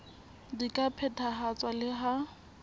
di ka phethahatswa le ha